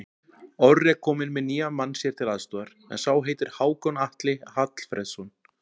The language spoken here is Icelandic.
Orri er kominn með nýjan mann sér til aðstoðar, en sá heitir Hákon Atli Hallfreðsson.